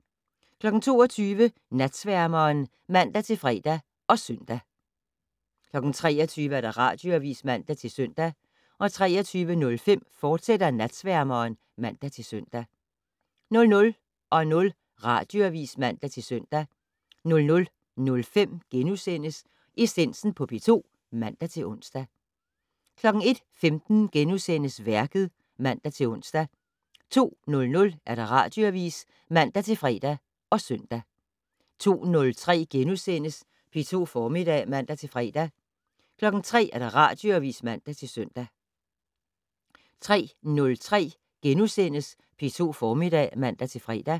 22:00: Natsværmeren (man-fre og søn) 23:00: Radioavis (man-søn) 23:05: Natsværmeren, fortsat (man-søn) 00:00: Radioavis (man-søn) 00:05: Essensen på P2 *(man-ons) 01:15: Værket *(man-ons) 02:00: Radioavis (man-fre og søn) 02:03: P2 Formiddag *(man-fre) 03:00: Radioavis (man-søn) 03:03: P2 Formiddag *(man-fre)